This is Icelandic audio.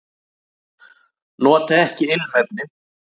Nota ekki ilmefni.